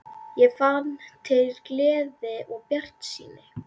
Ég fann til gleði og bjartsýni.